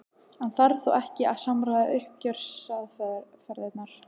En þarf þá ekki að samræma uppgjörsaðferðirnar?